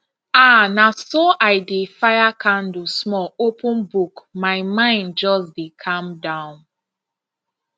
ah na so i dey fire candle small open book my mind just dey calm down